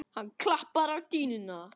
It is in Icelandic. Hann klappar á dýnuna.